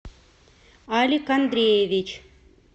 алик андреевич